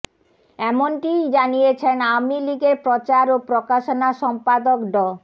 এমনটিই জানিয়েছেন আওয়ামী লীগের প্রচার ও প্রকাশনা সম্পাদক ড